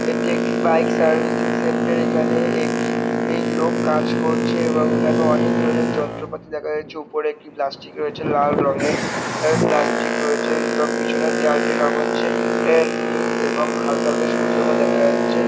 এটি একটি বাইক সাভিসিং সেন্টার এখানে একটি এই লোক কাজ করছে। এবং এখানে অনেক ধরনের যন্ত্রপাতি দেখা যাচ্ছে উপরে একটি রয়েছে লাল রঙের প্লাস্টিক রয়েছে। এবং পিছনের দেওয়ালটির রঙ হচ্ছে নীল এবং হাল্কা হাল্কা সবুজ রঙ দেখা যাচ্ছে।